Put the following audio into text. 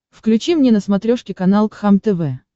включи мне на смотрешке канал кхлм тв